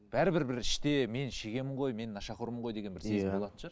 бәрібір бір іште мен шегемін ғой мен нашақормын ғой деген сезім болатын шығар